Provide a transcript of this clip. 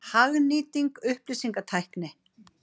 Hagnýting upplýsingatækni.